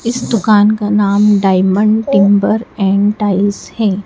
इस दुकान का नाम डायमंड टिंबर एंड टाइल्स है।